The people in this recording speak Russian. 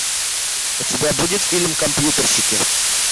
у тебя будет фильм компьютерщики